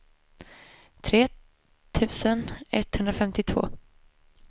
tre tusen etthundrafemtiotvå